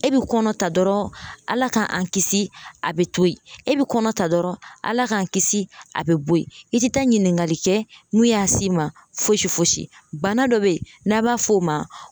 E bɛ kɔnɔ ta dɔrɔn ALA k'an kisi a bɛ to yen e bɛ kɔnɔ ta dɔrɔn ALA k'an kisi a bɛ bɔ ye i tɛ taa ɲininkali kɛ mun y'a s'i ma fosi fosi bana dɔ bɛ yen n'a b'a fɔ o ma.